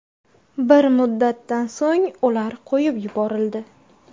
Bir muddatdan so‘ng ular qo‘yib yuborildi.